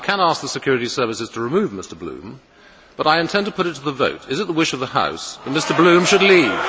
I can ask the security services to remove Mr Bloom, but I intend to put it to the vote. Is it the wish of the House that Mr Bloom should leave?